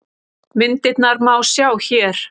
Myndirnar má sjá hér